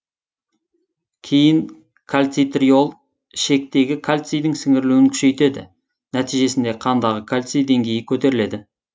кейін кальцитриол ішектегі кальцийдің сіңірілуін күшейтеді нәтижесінде қандағы кальций деңгейі көтеріледі